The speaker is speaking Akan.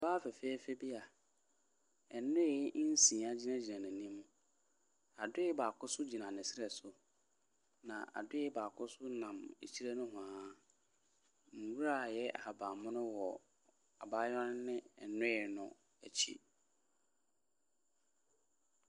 Ɔbaa fɛɛfɛɛfɛ bi a nnoe nsia gyinagyina n'anim. Adoe baako nso gyina ne serɛ so, na adoe baako nso nam akyire nohoa. Nwuara a ɛyɛ ahaban mono wɔ abayewa no ne nnoe no akyi.